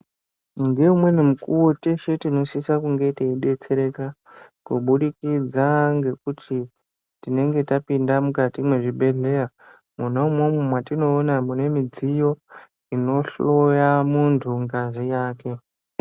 Ngeumweni mukuwo teshe tinosise kunge teidetsereka kubudikidza ngekuti tinenge tapinda muzvibhehleya mwona umwomwo wetinoona mune midziyo inohloya muntu ngazi yake.